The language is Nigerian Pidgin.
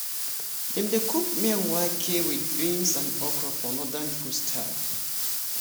dem dey cook miyan wake wit beans and okro for northern food style